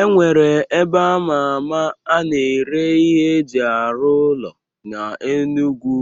E nwere ebe ama ama a na-ere ihe eji arụ ụlọ na Enugwu